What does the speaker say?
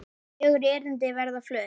Fjögur erindi verða flutt.